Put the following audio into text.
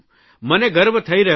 મને ગર્વ થઇ રહ્યો છે